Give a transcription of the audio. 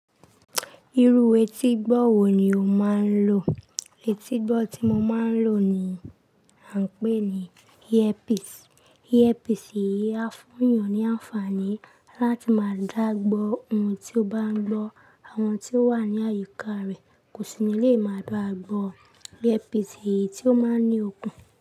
Irú etígbọ́ wo ni o máa ń lò? Etígbọ́ tí mo máa ń lò ni à ń pè ní ear piece. Ear piece yìí á fún èèyàn ní àǹfààní láti máa dá gbọ́ ohun tí ó bá ń gbọ́. Àwọn tí ó wà ní àyíká rẹ̀ kò sì ní lè máa báa gbọ́. Ear piece yìí tí ó máa ń ní okun.